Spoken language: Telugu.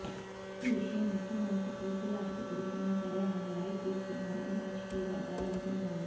ఈ విషయం ముఖ్యమంత్రి కెసిఆర్ కి తెలిసినా సరే ఆయన లైట్ తీసుకున్నారని రాజకీయ వర్గాలు అంటున్నాయి